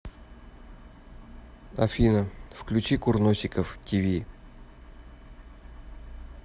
афина включи курносиков ти ви